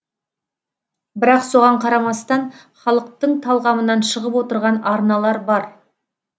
бірақ соған қарамастан халықтың талғамынан шығып отырған арналар бар